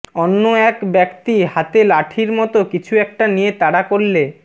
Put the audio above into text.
অন্য এক ব্যক্তি হাতে লাঠির মতো কিছু একটা নিয়ে তাড়া করলে